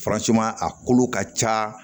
a kolo ka ca